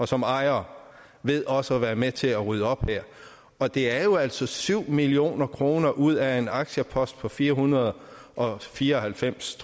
som ejer ved også at være med til at rydde op her og det er jo altså syv million kroner ud af en aktiepost på fire hundrede og fire og halvfems